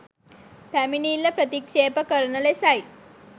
පැමිණිල්ල ප්‍රතික්ෂේප කරන ලෙසයි